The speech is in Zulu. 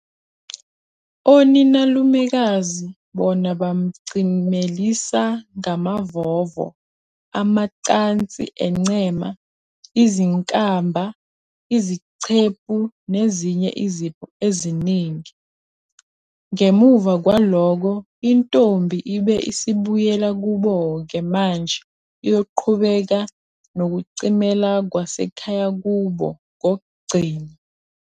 Oninalumekazi bona bamcimelisa ngamavovo, amacansi encema, izinkamba, izicephu nezinye izipho eziningi. Ngemuva kwalokho intombi ibe isibuyela kuboke manje iyoqhubeka nokucimela kwasekhaya kubo kokugcina.